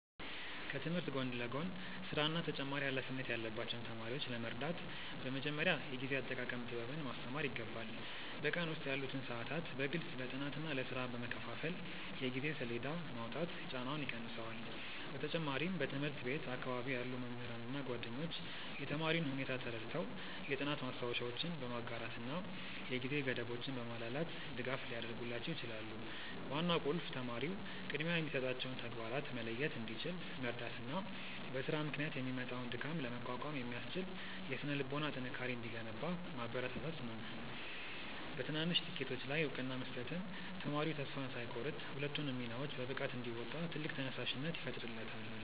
ከትምህርት ጎን ለጎን ሥራና ተጨማሪ ኃላፊነት ያለባቸውን ተማሪዎች ለመርዳት በመጀመሪያ የጊዜ አጠቃቀም ጥበብን ማስተማር ይገባል። በቀን ውስጥ ያሉትን ሰዓታት በግልጽ ለጥናትና ለሥራ በመከፋፈል የጊዜ ሰሌዳ ማውጣት ጫናውን ይቀንሰዋል። በተጨማሪም በትምህርት ቤት አካባቢ ያሉ መምህራንና ጓደኞች የተማሪውን ሁኔታ ተረድተው የጥናት ማስታወሻዎችን በማጋራትና የጊዜ ገደቦችን በማላላት ድጋፍ ሊያደርጉላቸው ይችላሉ። ዋናው ቁልፍ ተማሪው ቅድሚያ የሚሰጣቸውን ተግባራት መለየት እንዲችል መርዳትና በሥራ ምክንያት የሚመጣውን ድካም ለመቋቋም የሚያስችል የሥነ-ልቦና ጥንካሬ እንዲገነባ ማበረታታት ነው። በትናንሽ ስኬቶች ላይ እውቅና መስጠትም ተማሪው ተስፋ ሳይቆርጥ ሁለቱንም ሚናዎች በብቃት እንዲወጣ ትልቅ ተነሳሽነት ይፈጥርለታል።